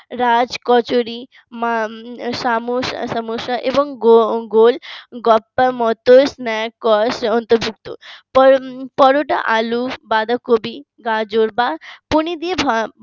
রাজ কচুরি সামোস সামোসা এবং গোল গাপ্পার মত পরোটা আলু বাঁধাকপি গাজর বা পনির দিয়ে ভা